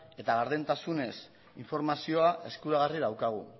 eta gardentasunez informazioa eskuragarri daukagu